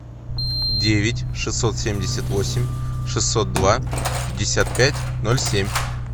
девять шестьсот семьдесят восемь шестьсот два пятьдесят пять ноль семь